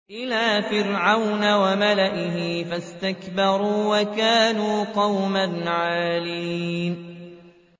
إِلَىٰ فِرْعَوْنَ وَمَلَئِهِ فَاسْتَكْبَرُوا وَكَانُوا قَوْمًا عَالِينَ